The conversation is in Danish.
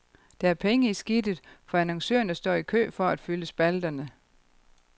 Der er penge i skidtet, for annoncørerne står i kø for at fylde spalterne.